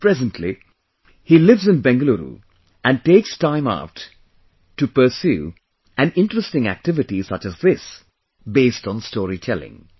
Presently, he lives in Bengaluru and takes time out to pursue an interesting activity such as this, based on storytelling